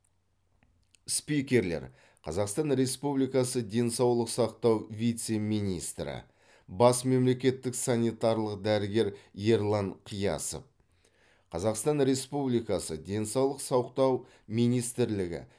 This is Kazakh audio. спикерлер қазақстан республикасы денсаулық сақтау вице министрі бас мемлекеттік санитарлық дәрігер ерлан қиясов қазақстан республикасы денсаулық сақтау министрлігі